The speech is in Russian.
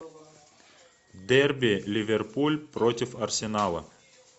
дерби ливерпуль против арсенала